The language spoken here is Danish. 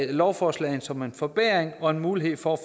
lovforslag som en forbedring og en mulighed for